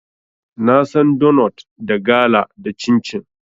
Na san donot, da gala, da cincin.